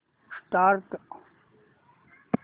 start